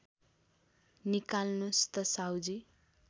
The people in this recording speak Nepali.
निकाल्नुस् त साहुजी